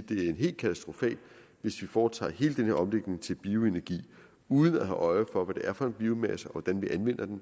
det er helt katastrofalt hvis vi foretager hele den her omlægning til bioenergi uden at have øje for hvad det er for en biomasse og hvordan vi anvender den